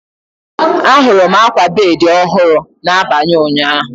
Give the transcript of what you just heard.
Ahụrụ m akwa bedi ọhụrụ n'abalị ụnyaahụ.